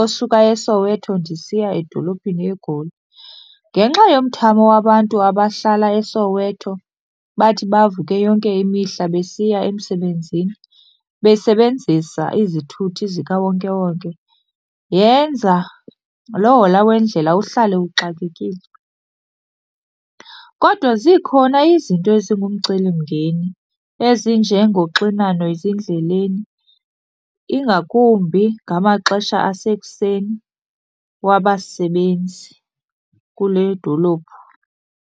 osuka eSoweto ndisiya edolophini eGoli. Ngenxa yomthamo wabantu abahlala eSoweto bathi bavuke yonke imihla besiya emsebenzini besebenzisa izithuthi zikawonkewonke, yenza lohola wendlela uhlale uxakekile. Kodwa zikhona izinto ezingumcelimngeni ezinjengoxinano ezindleleni, ingakumbi ngamaxesha asekuseni wabasebenzi kule dolophu.